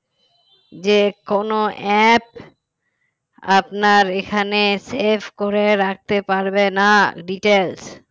যে কোনো app আপনার এখানে save করে রাখতে পারবে না details